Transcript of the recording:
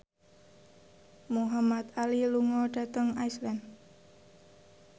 Muhamad Ali lunga dhateng Iceland